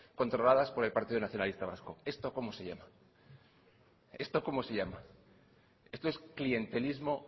controladas por el partido nacionalista vasco esto cómo se llama esto es clientelismo